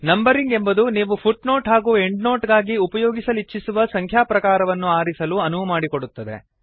numbering ಎಂಬುದು ನೀವು footnote ಹಾಗೂ ಎಂಡ್ನೊಟ್ ಗಾಗಿ ಉಪಯೋಗಿಸಲಿಚ್ಛಿಸುವ ಸಂಖ್ಯಾ ಪ್ರಕಾರವನ್ನು ಆರಿಸಲು ಅನುವುಮಾಡಿಕೊಡುತ್ತದೆ